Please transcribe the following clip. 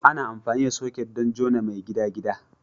Ana amfani da soket don jona mai gidagida.